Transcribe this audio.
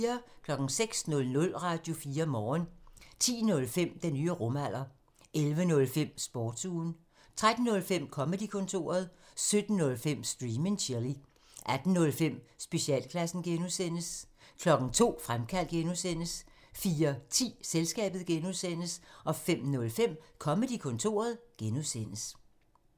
06:00: Radio4 Morgen 10:05: Den nye rumalder 11:05: Sportsugen 13:05: Comedy-kontoret 17:05: Stream and chill 18:05: Specialklassen (G) 02:00: Fremkaldt (G) 04:10: Selskabet (G) 05:05: Comedy-kontoret (G)